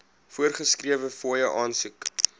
voorgeskrewe fooie aansoek